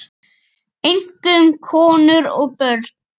Einkum konur og börn.